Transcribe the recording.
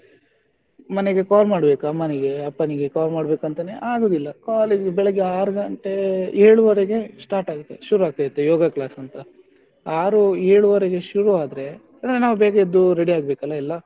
ಮನೆಗೆ call ಮಾಡ್ಬೇಕು ಅಮ್ಮನಿಗೆ ಅಪ್ಪನಿಗೆ call ಮಾಡ್ಬೇಕು ಅಂತಾನೆ ಆಗುದಿಲ್ಲ call ಮಾಡ್ಬೇಕಂತ ಆರು ಗಂಟೆ ಏಳು ವರೆಗೆ start ಶುರು ಆಗ್ತದೆ yoga class ಅಂತ. ಆರು ಏಳುವರೆಗೆ ಶುರು ಆದ್ರೆ ಅಂದ್ರೆ ನಾವು ಬೇಗ ಎದ್ದು ready ಆಗ್ಬೇಕಲ್ಲ ಎಲ್ಲ,